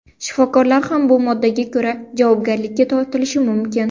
Shifokorlar ham bu moddaga ko‘ra javobgarlikka tortilishlari mumkin.